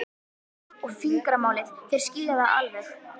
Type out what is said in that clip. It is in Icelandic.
og fingramálið, þeir skilja það alveg.